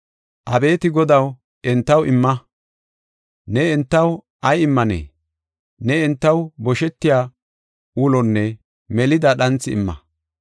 Abeeti Godaw, entaw imma! Ne entaw ay immanee? Ne entaw boshetiya ulonne melida dhanthi imma.